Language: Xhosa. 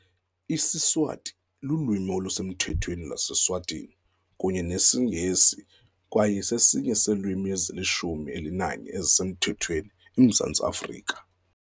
IsiSwati lulwimi olusemthethweni lwase-Eswatini, kunye nesiNgesi, kwaye sesinye seelwimi ezilishumi elinanye ezisemthethweni eMzantsi Afrika.